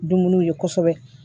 Dumuniw ye kosɛbɛ